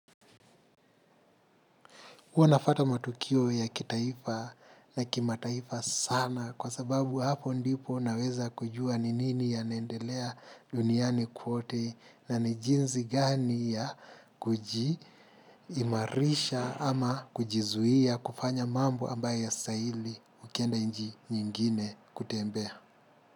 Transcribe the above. Huwa nafuata matukio ya kitaifa na kimataifa sana kwa sababu hapo ndipo naweza kujua ni nini yanaendelea duniani kwote na jinsi gani ya imarisha ama kujizuia kufanya mambo ambaye yasahili ukienda nchi nyingine kutembea.